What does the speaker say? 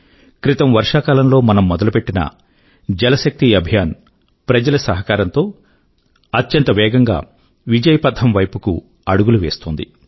క్రితం వర్షా కాలం లో మనం మొదలుపెట్టిన జల్ శక్తి అభియాన్ ప్రజల సహకారం తో అత్యంత వేగం గా విజయపథం వైపుకి అడుగులు వేస్తోంది